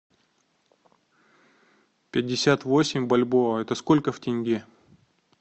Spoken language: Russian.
пятьдесят восемь бальбоа это сколько в тенге